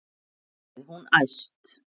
sagði hún æst.